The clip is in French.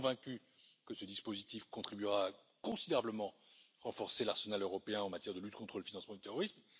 Je suis convaincu que ce dispositif contribuera considérablement à renforcer l'arsenal européen en matière de lutte contre le financement du terrorisme.